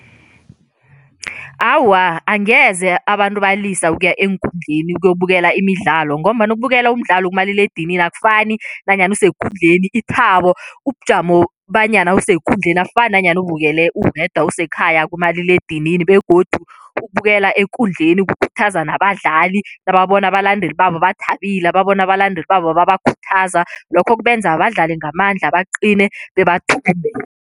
Awa, angeze abantu balisa ukuya eenkundleni ukuyokubukela imidlalo ngombana ukubukela umdlalo kumaliledinini akufani nanyana usekundleni, ithabo, ubujamo banyana usekundleni akufani nanyana ubukele uwedwa usekhaya kumaliledinini begodu ukubukela ekundleni kukhuthaza nabadlali nababona abalandeli babo bathabile, nababona abalandeli babo babakhuthaza, lokho kubenza badlale ngamandla, baqine bebathumbe.